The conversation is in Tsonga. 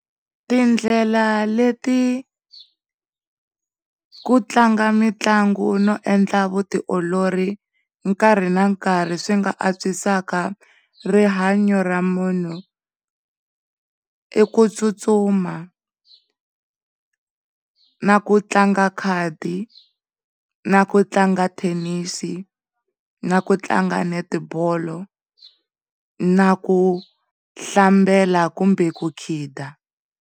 Tindlela le ti ku tlanga mitlangu no endla vutiolori nkarhi na nkarhi swi nga antswisaka rihanya ra munhu i ku kutsutsuma, na ku tlanga khadi, na ku tlanga thenisi, na ku tlanga netibolo na ku hlambela kumbe ku khida.